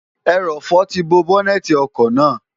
ẹrọ̀fọ̀ ti bo bọ́́nẹ́ẹ̀ti ọkọ̀ náà